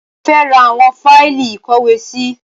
Mo fẹ́ ra àwọn fáìlì ìkówèésí